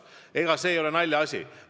See tõesti ei ole naljaasi.